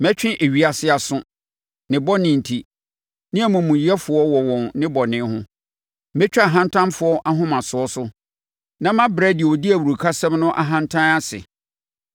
Mɛtwe ewiase aso, ne bɔne enti, ne amumuyɛfoɔ wɔ wɔn nnebɔne ho. Mɛtwa ahantanfoɔ ahomasoɔ so na mabrɛ deɛ ɔdi awurukasɛm no ahantan ase.